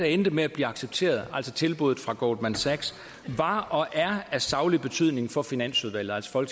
endte med at blive accepteret altså tilbuddet fra goldman sachs var og er af saglig betydning for finansudvalget altså